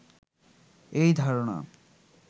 এই ধারণা